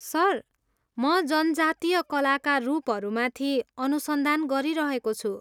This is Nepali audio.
सर, म जनजातीय कलाका रूपहरूमाथि अनुसन्धान गरिरहेको छु।